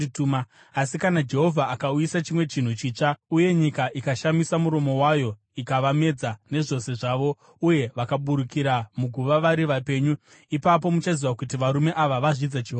Asi kana Jehovha akauyisa chimwe chinhu chitsva, uye nyika ikashamisa muromo wayo ikavamedza, nezvose zvavo, uye vakaburukira muguva vari vapenyu, ipapo muchaziva kuti varume ava vazvidza Jehovha.”